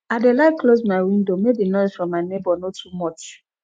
i dey like close my window make di noise from my nebor no too much